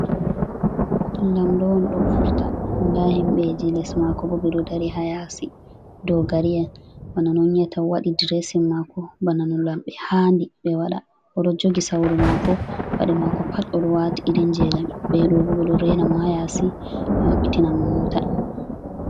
Lamɗo on do vurta nda himbeji les mako ɓo ɓe do dari ha yasi dogari'en bana no on yi'ata wadi ɗiresin mako bana non lambe haɗi ɓe wada oɗo jogi sawru mako paɗe mako pat odo wati irin je lamibe ɗo juge ɗo rena mo ha yasi ɓe mabbitina mo motaa